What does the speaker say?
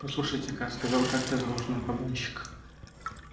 послушайте-ка сказал как-то за ужином погонщик